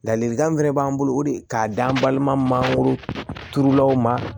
Ladilikan min fɛnɛ b'an bolo o de k'a d'an balima mangoro turulaw ma